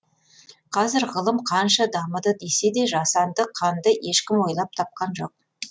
қазір ғылым қанша дамыды десе де жасанды қанды ешкім ойлап тапқан жоқ